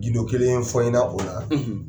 Gindo kelen fɔ i ɲɛna o la.